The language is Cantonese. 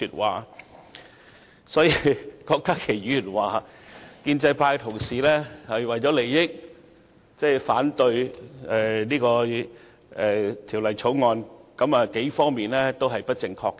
但是，郭家麒議員說建制派同事為了利益而反對《2017年應課稅品條例草案》，有數方面是不正確的。